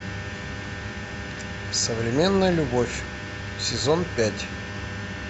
современная любовь сезон пять